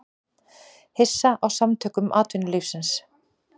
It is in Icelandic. Hissa á Samtökum atvinnulífsins